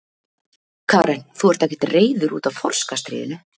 Karen: Þú ert ekkert reiður út af þorskastríðinu?